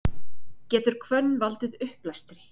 getur hvönn valdið uppblæstri